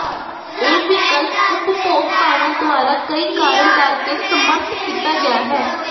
ਇਹ ਵਿਕਲਪ ਉਪਭੋਗਤਾਵਾਂ ਦੁਆਰਾ ਕਈ ਕਾਰਨ ਕਰਕੇ ਸਮਰੱਥ ਕੀਤਾ ਗਿਆ ਹੈ